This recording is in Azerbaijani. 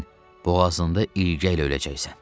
Sən boğazında ilgəylə öləcəksən.